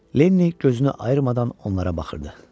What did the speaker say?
Lenni gözünü ayırmadan onlara baxırdı.